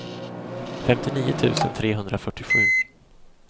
femtionio tusen trehundrafyrtiosju